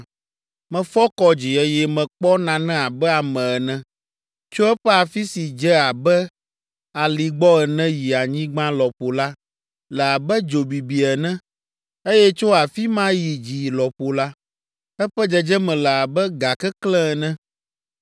Mefɔ kɔ dzi, eye mekpɔ nane abe ame ene. Tso eƒe afi si dze abe ali gbɔ ene yi anyigba lɔƒo la le abe dzo bibi ene, eye tso afi ma yi dzi lɔƒo la, eƒe dzedzeme le abe ga keklẽ ene.